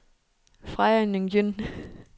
Freja Nguyen